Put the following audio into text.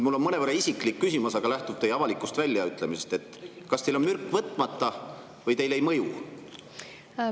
Mul on mõnevõrra isiklik küsimus, aga see lähtub teie avalikust väljaütlemisest: kas teil on mürk võtmata või teile ei mõju?